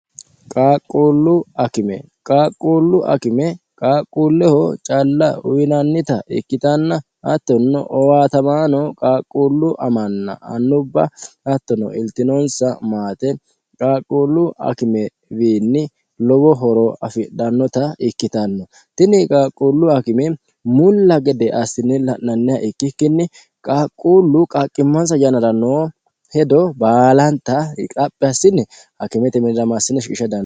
qaaqquullu akime qaaqquullu akime qaaqquulleho calla uyinannita ikkitanna hattonno owaatamaano qaaqquullu amanna annubba hattono iltinonsa maate qaaqquullu akime wiinni lowo horo afidhannota ikkitanno tini qaaqquullu akime mulla gede assinni la'nanniha ikkikkinni qaaqquullu qaaqqimmansa yanara noo hedo baalanta xaphi assine akimete minira shiqisha dandineemo